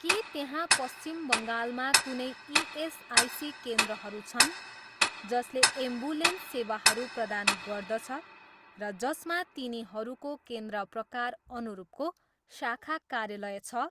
के त्यहाँ पश्चिम बङ्गालमा कुनै इएसआइसी केन्द्रहरू छन् जसले एम्बुलेन्स सेवाहरू प्रदान गर्दछ र जसमा तिनीहरूको केन्द्र प्रकार अनुरूपको शाखा कार्यालय छ?